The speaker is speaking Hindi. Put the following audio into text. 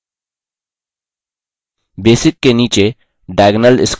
basic के नीचे diagonal squares चुनें